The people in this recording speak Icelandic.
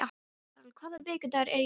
Karol, hvaða vikudagur er í dag?